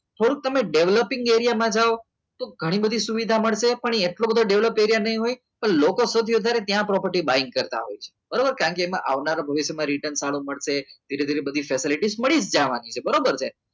થોડુંક તમને developing એરિયામાં જાઓ તો ઘણી બધી સુવિધા મળશે પણ એટલો બધો develop એરિયા નહીં હોય પણ લોકો સુધી સૌથી વધારે ત્યાં property buy કરતા હોય છે બરાબર કારણ કે એમાં આવનારા ભવિષ્યમાં return સારો મળશે ધીરે ધીરે facility મળી જ જશે બરોબર છે